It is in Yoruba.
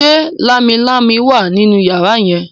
ṣe Lámilámi wá nínú yàrá yen?